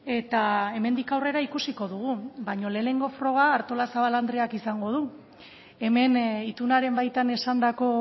eta hemendik aurrera ikusiko dugu baina lehenengo froga artolazabal andreak izango du hemen itunaren baitan esandako